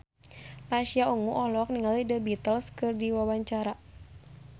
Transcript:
Pasha Ungu olohok ningali The Beatles keur diwawancara